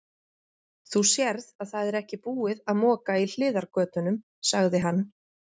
Þú sérð að það er ekki búið að moka í hliðargötunum, sagði hann.